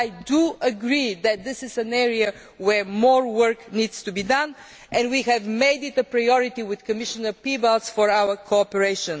I do agree that this is an area where more work needs to be done, and we have made it a priority with Commissioner Piebalgs for our cooperation.